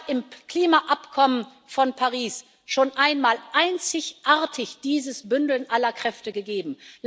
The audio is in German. Es hat im Klimaabkommen von Paris schon einmal einzigartig dieses Bündeln aller Kräfte gegeben.